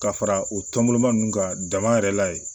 Ka fara o tɔnba nunnu kan dama yɛrɛ la ye